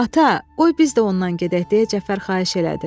Ata, qoy biz də ondan gedək, deyə Cəfər xahiş elədi.